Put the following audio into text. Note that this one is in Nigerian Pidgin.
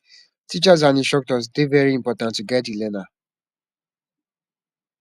teachers and instructors dey very important to guide di learner